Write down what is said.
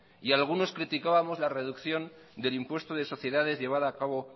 algunos criticábamos la reducción del impuesto de sociedades llevada a cabo